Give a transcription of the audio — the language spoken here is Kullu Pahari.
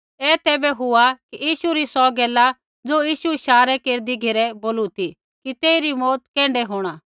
ऐ तैबै हुआ कि यीशु री सौ गैला ज़ो यीशु इशारा केरदी घेरै बोलू ती कि तेइरी मौऊत कैण्ढी होंणा